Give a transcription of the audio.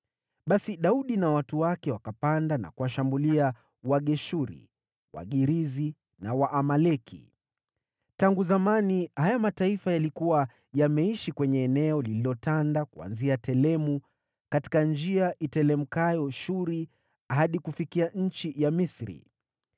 Basi Daudi na watu wake wakapanda na kuwashambulia Wageshuri, Wagirizi na Waamaleki. (Tangu zamani haya mataifa yalikuwa yameishi kwenye eneo lililotanda kuanzia Telemu katika njia iteremkayo Shuri hadi kufikia nchi ya Misri.)